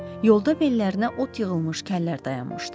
Yolda bellərinə ot yığılmış kəllər dayanmışdı.